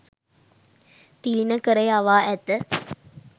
තිළිණ කර යවා ඇත.